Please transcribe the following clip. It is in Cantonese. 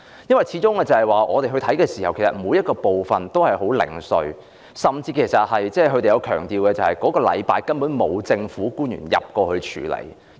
因為據我們的視察，其實每個部分也很零碎，甚至當區居民強調，風暴過後的那個星期內，根本沒有政府官員前往處理問題。